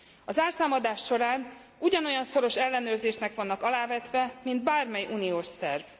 A zárszámadás során ugyanolyan szoros ellenőrzésnek vannak alávetve, mint bármely uniós szerv.